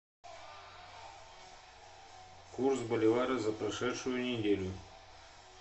курс боливара за прошедшую неделю